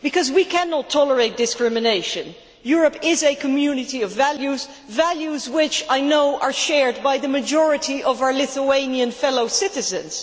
We cannot tolerate discrimination. Europe is a community of values values which I know are shared by the majority of our Lithuanian fellow citizens.